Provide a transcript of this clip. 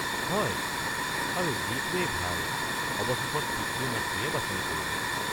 হয়, আৰু যিটোৱেই ভাল, অৱশেষত পিতৃ-মাতৃয়ে বাছনি কৰিব।